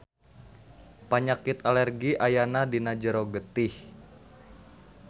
Panyakit alergi ayana dina jero getih.